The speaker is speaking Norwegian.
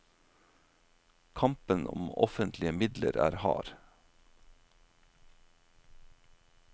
Kampen om offentlige midler er hard.